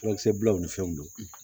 Furakisɛ bilalaw ni fɛnw don